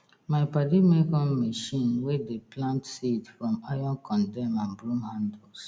my padi make on machine wey dey plant seed from iron condem and brrom handles